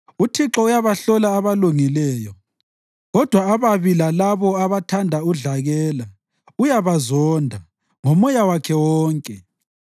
UThixo uyabahlola abalungileyo, kodwa ababi lalabo abathanda udlakela uyabazonda ngomoya wakhe wonke.